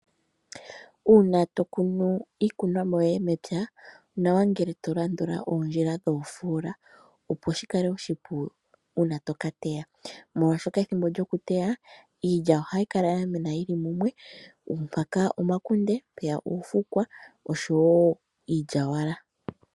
Uuna tokunu iikunomwa yoye mepya, onawa ngele to landula oondjila dhoofola, opo shikuningile oshipu uuna tokateya. Molwaashoka ethimbo lyokuteya, iilya ohayi kala yamena yili mumwe, mpaka omakunde, mpeyaka oofukwa, oshowo iilyawala.